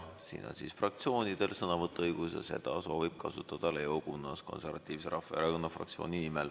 Siin on fraktsioonidel sõnavõtuõigus ja seda soovib kasutada Leo Kunnas Konservatiivse Rahvaerakonna fraktsiooni nimel.